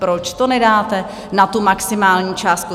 Proč to nedáte na tu maximální částku?